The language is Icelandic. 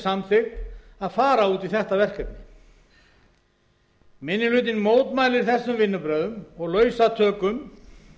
samþykkt að fara út í þetta verkefni minni hlutinn mótmælir þessum vinnubrögðum og lausatökum